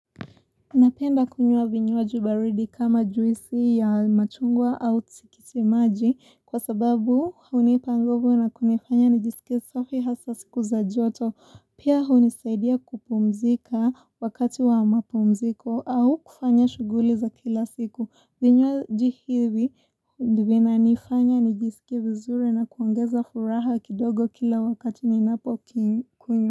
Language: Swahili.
Napenda kunyua vinyuwaji baridi kama juisi ya machungwa au tisikiti maji kwa sababu hunipa nguvu na kunifanya nijisike safi hasa siku za joto pia hunisaidia kupumzika wakati wa mapumziko au kufanya shuguli za kila siku vinywaji ivi vina nifanya nijisike vizuri na kuongeza furaha kidogo kila wakati ninapo kikunywa.